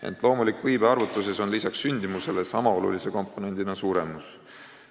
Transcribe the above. Ent loomuliku iibe arvutuses on suremus ju sama oluline komponent kui sündimus.